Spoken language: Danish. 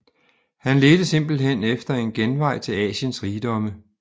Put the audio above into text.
Han ledte simpelthen efter en genvej til Asiens rigdomme